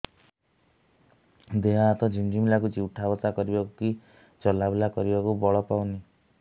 ଦେହେ ହାତ ଝିମ୍ ଝିମ୍ ଲାଗୁଚି ଉଠା ବସା କରିବାକୁ କି ଚଲା ବୁଲା କରିବାକୁ ବଳ ପାଉନି